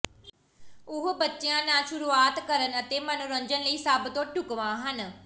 ਉਹ ਬੱਚਿਆਂ ਨਾਲ ਸ਼ੁਰੂਆਤ ਕਰਨ ਅਤੇ ਮਨੋਰੰਜਨ ਲਈ ਸਭ ਤੋਂ ਢੁਕਵਾਂ ਹਨ